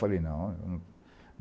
Falei, não.